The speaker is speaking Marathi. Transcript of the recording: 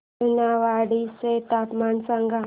सोनेवाडी चे तापमान सांग